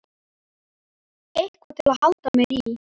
Eitthvað til að halda mér í.